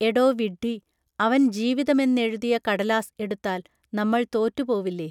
എടോ വിഡ്ഢി, അവൻ ജീവിതമെന്നെഴുതിയ കടലാസ് എടുത്താൽ നമ്മൾ തോറ്റുപോവില്ലേ